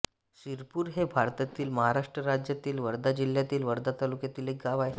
सिरपूर हे भारतातील महाराष्ट्र राज्यातील वर्धा जिल्ह्यातील वर्धा तालुक्यातील एक गाव आहे